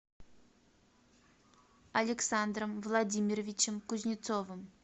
александром владимировичем кузнецовым